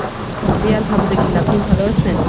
জি আলহামদুলিল্লাহ, আপনি ভালো আছেন?